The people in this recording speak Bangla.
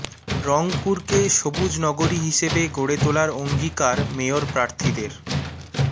রংপুরকে সবুজ নগরী হিসেবে গড়ে তোলার অঙ্গীকার মেয়র প্রার্থীদের